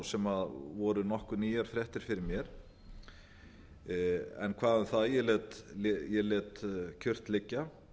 sem voru nokkuð nýjar fréttir fyrir mér en hvað um það ég lét kyrrt liggja